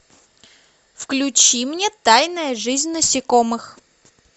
включи мне тайная жизнь насекомых